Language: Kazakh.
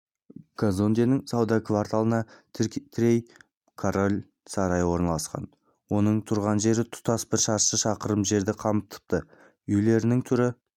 казонденің сауда кварталына тірей король сарайы орналасқан оның тұрған жері тұтас бір шаршы шақырым жерді қамтыпты үйлерінің түрі